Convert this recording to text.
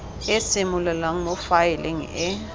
e simololang mo faeleng e